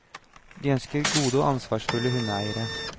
De ønsker gode og ansvarsfulle hundeeiere.